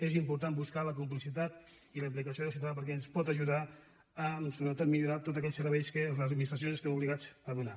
és important buscar la complicitat i la implicació del ciutadà perquè ens pot ajudar a sobretot millorar tots aquells serveis que les administracions estem obligades a donar